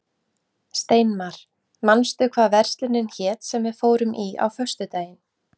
Steinmar, manstu hvað verslunin hét sem við fórum í á föstudaginn?